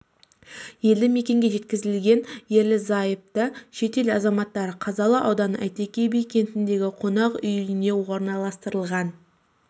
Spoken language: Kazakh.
елді мекенге жеткізілген ерлі-зайыпты шет ел азаматтары қазалы ауданы әйтеке би кентіндегі қонақ үйіне орналастырылған